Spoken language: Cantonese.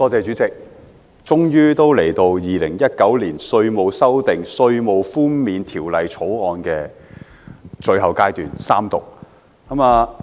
主席，終於來到《2019年稅務條例草案》的最後階段——三讀。